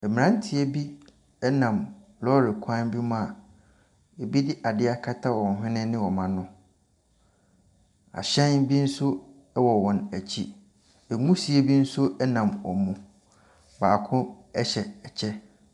Mmranteɛ bi nam lɔɔre kwan bi mu a ebi de adeɛ akata wɔn hwene ne wɔn ano. Ahyɛn bi nso wɔ wɔn akyi. Nwusie bi nso nam wɔn mu. Bako hyɛ ɛkyɛ.